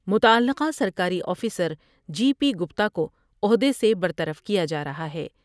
متعلقہ سرکاری officer G P Gupta کو عہدے سے برطرف کیا جارہا ہے ۔